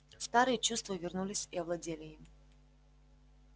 старые чувства вернулись и овладели им